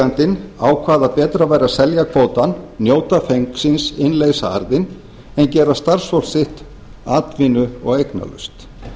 kvótaeigandinn ákvað að betra væri að selja kvótann njóta fengsins innleysa arðinn en gera starfsfólk sitt atvinnu og eignalaust